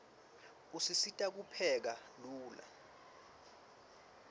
usisita kupheka lula